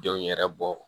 Denw yɛrɛ bɔ